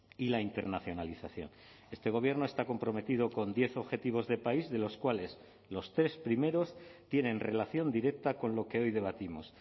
y la internacionalización este gobierno está comprometido con diez objetivos de país de los cuales los tres primeros tienen relación directa con lo que hoy debatimos